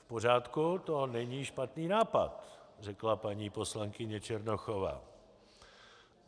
V pořádku, to není špatný nápad, řekla paní poslankyně Černochová.